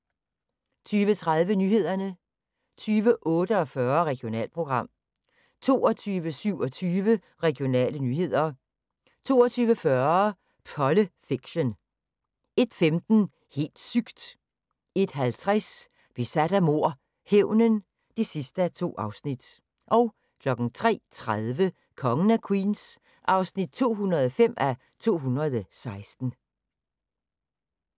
20:30: Nyhederne 20:48: Regionalprogram 22:27: Regionale nyheder 22:40: Polle Fiction 01:15: Helt sygt! 01:50: Besat af mord - hævnen (2:2) 03:30: Kongen af Queens (205:216)